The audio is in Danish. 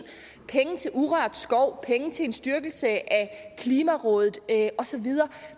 penge til urørt skov penge til en styrkelse af klimarådet og så videre